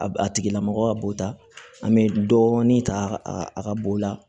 A a tigila mɔgɔ ka bɔta an bɛ dɔɔnin ta a ka bo la